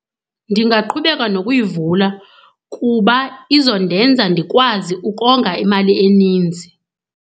Ndingaqhubeka nokuyivula kuba izondenza ndikwazi ukonga imali eninzi.